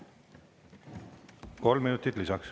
Kolm minutit lisaks.